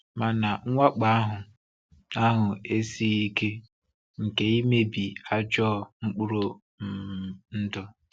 Mana mwakpò ahụ ahụ esighi ike nke imebi ajọ mkpụrụ um ndụ.